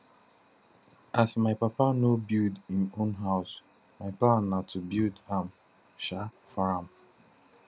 as my papa no build im own house my plan na to build am um for am